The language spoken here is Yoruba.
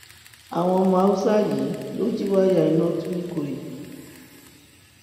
àwọn ọmọ haúsá yìí lọọ jí wáyà iná tu nìkòyí